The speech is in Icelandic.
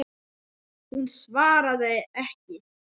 Hún svaraði ekki.